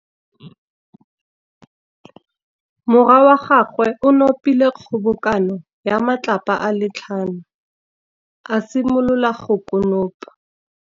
Morwa wa gagwe o nopile kgobokanô ya matlapa a le tlhano, a simolola go konopa.